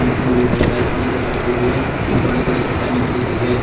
पीछे में भी बहुत सारे छोटे छोटे पत्थर भी हैं और बड़ी बड़ी चट्टान नीचे भी है।